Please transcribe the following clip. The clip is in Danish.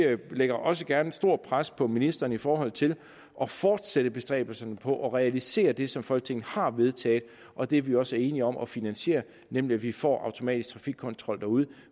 lægger også gerne et stort pres på ministeren i forhold til at fortsætte bestræbelserne på at realisere det som folketinget har vedtaget og det vi også er enige om at finansiere nemlig at vi får automatisk trafikkontrol derude